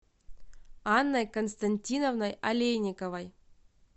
анной константиновной олейниковой